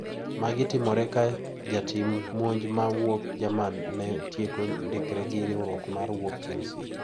Magi timore ka jatim monj ma wuok Jerman no tieko ndikre gi riwruok ma wuok Chelsea.